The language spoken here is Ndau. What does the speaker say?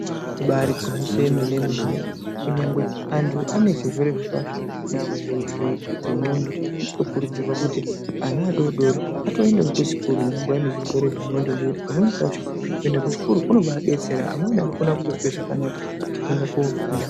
Ibaari gwinyiso yemenemene kunyangwe anthu ane chirwere zvendxondo anokurudzirwa kuti ana adodori atoenda kuchikoro nenguwa yezvirwere zvendxondo nekuti pamweni pacho kuenda kuchikoro kunoadetsera amweni anokona kuzwa zvakanaka nekuenda kofunda.